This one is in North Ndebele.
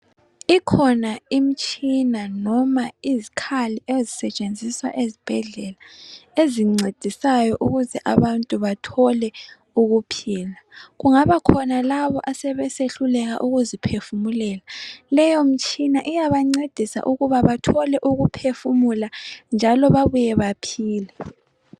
Ikhona imtshina noma izikhali ezisetshenziswa ezibhedlela ezincedisayo ukuthi abantu bathole ukuphila. Kungabakhona labo asebesehluleka ukuziphefumulela. Leyo mtshina iyabancedisa ukuba bathole ukuphefumula njalo babuye baphile.